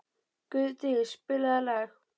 Guðdís, spilaðu lag.